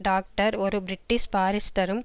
doctor ஒரு British பாரிஸ்டரும்